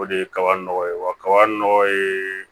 O de ye kaba nɔgɔ ye wa kaba nɔgɔ ye